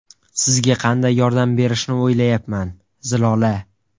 Sizga qanday yordam berishni o‘ylayapman, Zilola.